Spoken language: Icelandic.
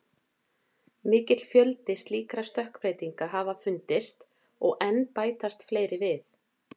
Mikill fjöldi slíkra stökkbreytinga hafa fundist og enn bætast fleiri við.